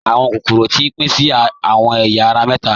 Awọn kokoro ti pin sí awọn èya ara méta.